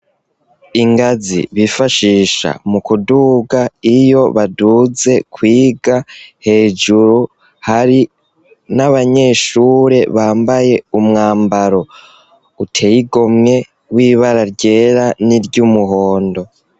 Ingazi bifashisha mu kuduga iyo baduze kwiga hejuru hari n'abanyeshure bambaye umwambaro uteyigomwe w'ibara ryera n'iryo umuhondo.